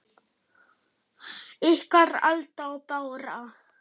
Ykkar, Alda og Bára.